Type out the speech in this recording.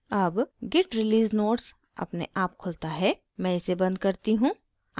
अब git release notes अपने आप खुलता है मैं इसे बंद करती हूँ